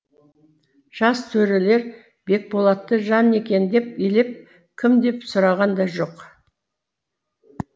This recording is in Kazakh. жас төрелер бекболатты жан екен деп елеп кім деп сұраған да жоқ